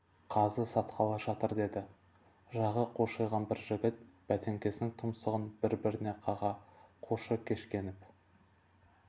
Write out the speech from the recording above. қазы сатқалы жатыр деді жағы қушиған бір жігіт бәтеңкесінің тұмсығын бір-біріне қаға қушыкешкеніп